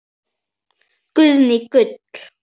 Guðný: Gull?